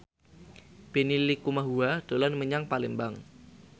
Benny Likumahua dolan menyang Palembang